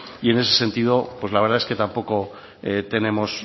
y en ese sentido pues la verdad es que tampoco tenemos